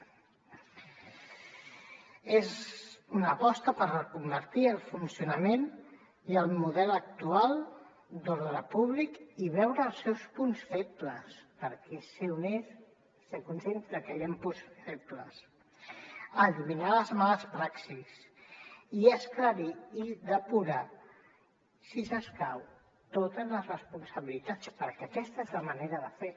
és una aposta per reconvertir el funcionament i el model actual d’ordre públic i veure els seus punts febles perquè és ser honest ser conscients de que hi han punts febles eliminar les males praxis i esclarir i depurar si s’escau totes les responsabilitats perquè aquesta és la manera de fer